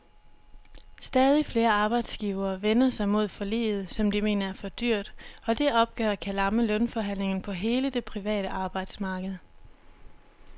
Stadig flere arbejdsgivere vender sig mod forliget, som de mener er for dyrt, og det opgør kan lamme lønforhandlingerne på hele det private arbejdsmarked.